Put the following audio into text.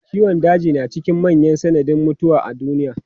Ciwon daji na cikin manyan sanadin mutuwa a duniya.